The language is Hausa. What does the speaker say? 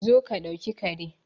Zo ka dauki Kare